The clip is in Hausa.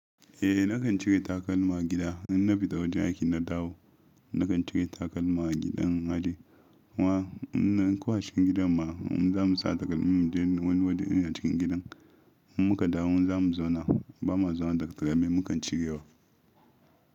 Eh nakan cire takalma gida in na fita wajen aiki na dawo. Nakan cire takalma gidan hajji. Wannan kwashen gidan mu zamu sa takalmin mu mu je wani waje ina cikin gidan muka dawo zamu zauna. Ba ma zauna da takalmin mu kan cirewa.